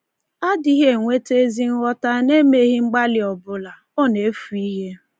A dịghị enweta ezi nghọta n’emeghị mgbalị ọbụla; ọ na-efu ihe.